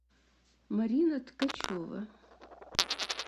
марина ткачева